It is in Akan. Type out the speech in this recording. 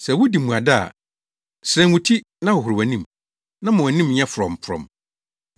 Sɛ wudi mmuada a, serɛn wo ti, na hohoro wʼanim, na ma wʼanim nyɛ frɔmfrɔm,